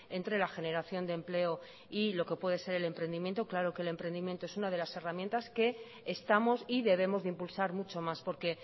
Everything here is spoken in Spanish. entre la generación de empleo y lo que puede ser el emprendimiento claro que el emprendimiento es una de las herramientas que estamos y debemos de impulsar mucho más porque